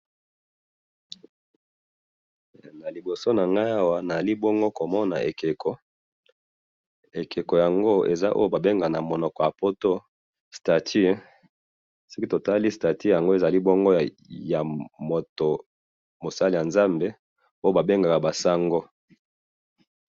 na liboso na ngai awa nazali bongo komona ekeko, ekeko yango ba benga na monoko ya poto statue, soki totali statue yango ezali bongo ya moto, mosali ya nzambe oyo ba bengaka ba sango